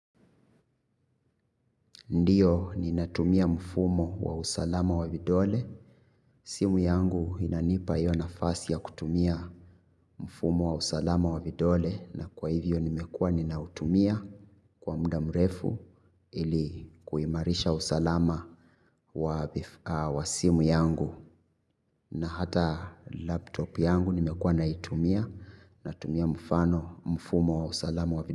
Ndiyo ni natumia mfumo wa usalama wa vidole. Simu yangu inanipa hiyo nafasi ya kutumia mfumo wa usalama wa vidole. Na kwa hivyo nimekua ninautumia kwa muda mrefu ili kuimarisha usalama wa simu yangu. Na hata laptop yangu nimekua naitumia na tumia mfano mfumo wa usalama wa vidole.